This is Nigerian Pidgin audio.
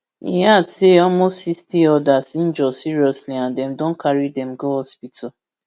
e add say almost sixty odas injure seriously and dem don carry dem go hospital